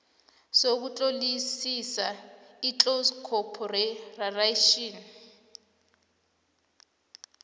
sokutlolisa iclose corporation